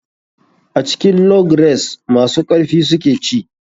A cikin log race masu karfi su suke ci.